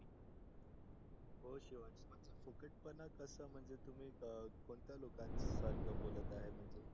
हो शिवांश असं फुकटपणा कस म्हणजे तुम्ही कोणत्या लोकांसारखं बोलत आहे म्हणजे?